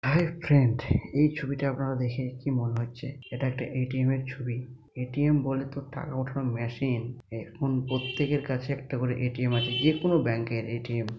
হায় friend এই ছবিটা আপনারা দেখে কি মনে হচ্ছে এটা একটা এ.টি.এম এর ছবি এ .টি . এম বলে তো টাকা ওঠানোর মেশিন এখন প্রত্যেকের কাছে একটা করে এ . টি . এম আছে যে কোন ব্যাঙ্ক এর এ.টি.এম --